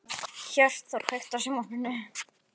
Hjörtþór, kveiktu á sjónvarpinu.